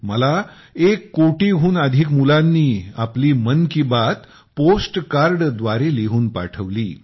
मला एक कोटीहून अधिक मुलांनी आपली मन की बात पोस्ट कार्ड द्वारे लिहून पाठवली